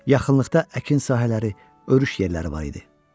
Yaxınlıqda əkin sahələri, örüş yerləri var idi.